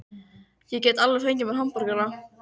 Ég get alveg fengið mér hamborgara.